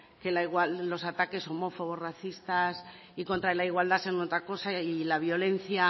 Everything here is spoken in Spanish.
que los ataques homófobos racistas y contra la igualdad sean una cosa y la violencia